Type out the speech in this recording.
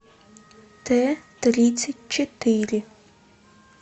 т тридцать четыре